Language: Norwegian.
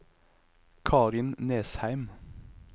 Karin Nesheim